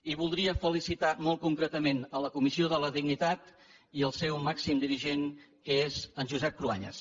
i voldria felicitar molt concretament la comissió de la dignitat i el seu màxim dirigent que és en josep cruanyes